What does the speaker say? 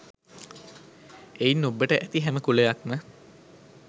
එයින් ඔබ්බට ඇති හැම කුලයක්ම